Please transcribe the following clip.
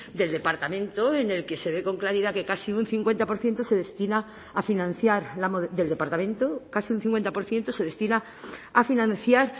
del departamento en el que se ve con claridad que casi un cincuenta por ciento se destina a financiar del departamento casi un cincuenta por ciento se destina a financiar